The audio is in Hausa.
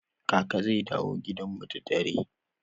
Kaka zai dawo gidan mu da dare.